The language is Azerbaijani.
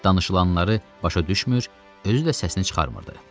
Danışılanları başa düşmür, özü də səsini çıxarmırdı.